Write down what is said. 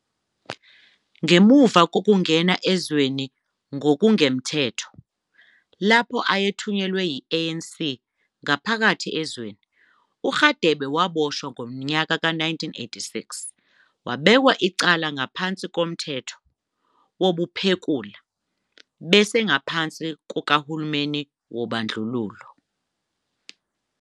Ngemuva kokungena ezweni ngokungemthetho, lapho ayethunyelwe yi-ANC ngaphakathi ezweni, uRadebe waboshwa ngo-1986, wabekwa icala ngaphansi koMthetho wobuphekula obese- ngaphansi kukahulumeni wobandlululo.